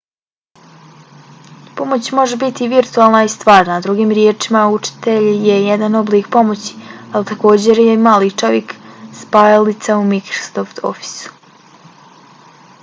pomoć može biti i virtualna i stvarna drugim riječima učitelj je jedan oblik pomoći ali takođe je i mali čovjek spajalica u microsoft officeu